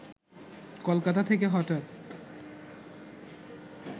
কলকাতা থেকে হঠাৎ